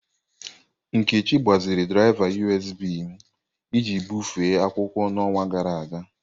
Nkechi gbaziri draịva USB m iji bufee akwụkwọ n'ọnwa gara aga.